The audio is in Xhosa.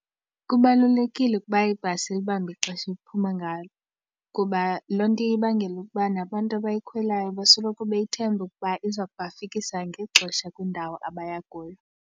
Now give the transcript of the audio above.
Kubalulekile ukuba ibhasi ilibambe ixesha ephuma ngalo kuba loo nto iye ibangele ukuba nabantu abayikhwelayo basoloko beyithemba ukuba iza kuba fikisa ngexesha kwindawo abaya kuyo.